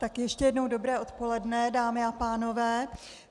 Tak ještě jednou dobré odpoledne, dámy a pánové.